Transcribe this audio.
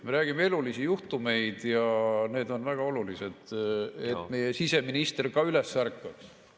Me räägime elulistest juhtumitest ja need on väga olulised, et meie siseminister ka üles ärkaks.